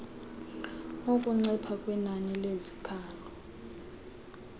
ukuncipha kwenani lezikhalo